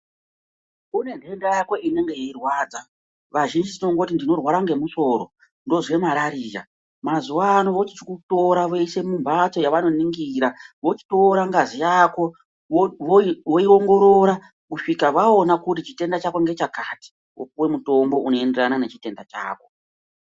Une ntenda yako inenge yeirwadza vazhinji tinongoti ndinorwara nge musoro ndinozwe marariya mazuwa ano vochikutora voisa mumhatso yavanoningira vochitora ngazi yako voi voi voiongorora kusvika vaona kuti chitenda chako ngechakati wopuwe mutombo unoenderana nechitenda chako.